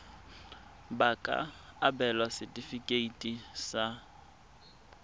ba ka abelwa setefikeiti sa